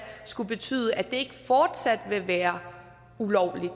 skulle betyde at det ikke fortsat vil være ulovligt